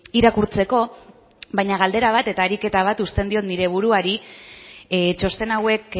irakurtzeko baina galdera bat eta ariketa bat uzten diot nire buruari txosten hauek